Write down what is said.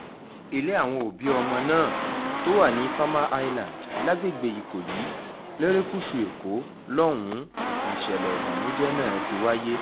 ilé àwọn òbí ọmọ náà tó wà ní farmer island lágbègbè ikọyì lerékùṣù èkó lọ́hùn-ún nìṣẹ̀lẹ̀ ìbànújẹ́ náà ti wáyé